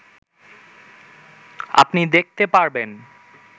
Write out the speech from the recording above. আপনি দেখতে পারবেন